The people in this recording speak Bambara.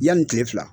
Yanni kile fila